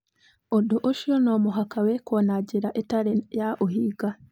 Ũndũ ũcio no mũhaka wĩkwo na njĩra ĩtarĩ ya ũhinga.